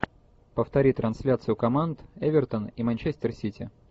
повтори трансляцию команд эвертон и манчестер сити